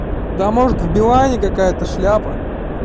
да может в билайне какая-то шляпа